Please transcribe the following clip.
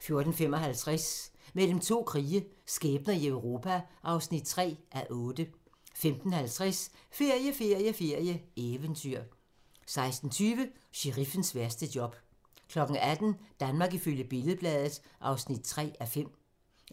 14:55: Mellem to krige - skæbner i Europa (3:8) 15:50: Ferie, ferie, ferie: Eventyr 16:20: Sheriffens værste job 18:00: Danmark ifølge Billed-Bladet (3:5)